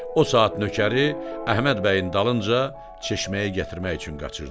O saat nökəri Əhməd bəyin dalınca çeşməyi gətirmək üçün qaçırtdırır.